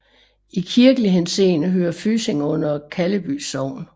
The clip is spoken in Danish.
I kirkelig henseende hører Fysing under Kalleby Sogn